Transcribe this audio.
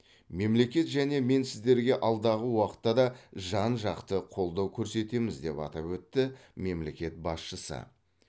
мемлекет және мен сіздерге алдағы уақытта да жан жақты қолдау көрсетеміз деп атап өтті мемлекет басшысы